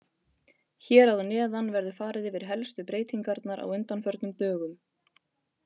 Hér að neðan verður farið yfir helstu breytingarnar á undanförnum dögum